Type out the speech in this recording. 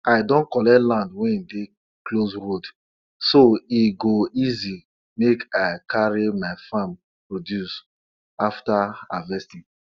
one tori dey talk sey one insect wey em name na fireflies dey shine well for land wey dey blessed with banana roots